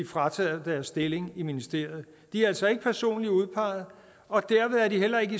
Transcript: frataget deres stilling i ministeriet de er altså ikke personligt udpegede og derved er de heller ikke